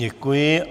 Děkuji.